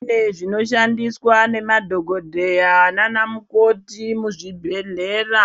Kune zvinoshandiswa nemadhokodhaya nana mukoti muzvibhedhlera